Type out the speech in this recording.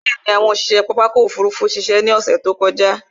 Bẹ̀ẹ̀ni, àwọn òṣiṣe pápá ọkò òfurufú ṣiṣẹ́ ní ọsẹ̀ tí ó kọjá.